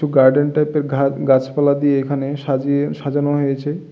Garden টাইপের ঘা গাছপালা দিয়ে এখানে সাজিয়ে সাজানো হয়েছে।